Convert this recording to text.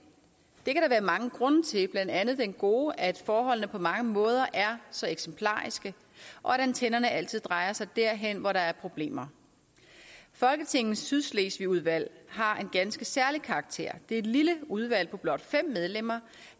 det mange grunde til blandt andet den gode at forholdene på mange måder er så eksemplariske og at antennerne altid drejer sig derhen hvor der er problemer folketingets sydslesvigudvalg har en ganske særlig karakter det er et lille udvalg på blot fem medlemmer